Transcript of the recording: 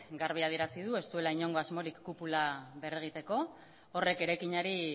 garbi adierazi du ez duela inongo asmorik kupula berregiteko horrek eraikinari